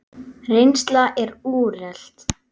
Reynsla er úrelt.